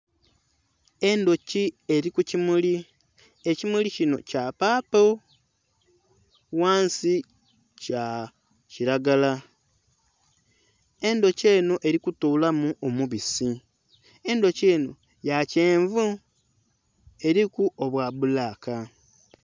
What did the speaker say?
Endhuki eri ku kimuli ekimuli kinho kya paapo ghansi kya kilagala , endhuki enho Eli kutolamu omubisi , endhuki enho ya kyenvu eriku obwa bulaka.